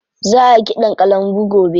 Za a yi ƙiɗan kalangu gobe.